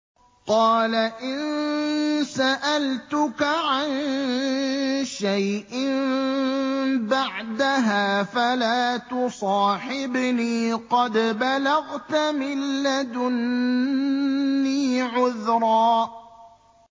قَالَ إِن سَأَلْتُكَ عَن شَيْءٍ بَعْدَهَا فَلَا تُصَاحِبْنِي ۖ قَدْ بَلَغْتَ مِن لَّدُنِّي عُذْرًا